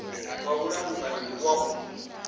wa mulamukanyi ndi wa u